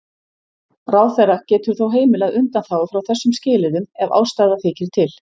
Ráðherra getur þó heimilað undanþágu frá þessum skilyrðum ef ástæða þykir til.